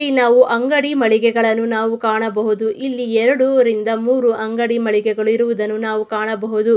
ಇಲ್ಲಿ ನಾವು ಅಂಗಡಿ ಮಳಿಗೆಗಳನ್ನು ನಾವು ಕಾಣಬಹುದು ಇಲ್ಲಿ ಎರಡು ಮೂರೂ ಅಂಗಡಿ ಮಳಿಗೆ ಇರುವುದು ನಾವು ಕಾಣಬಹುದು.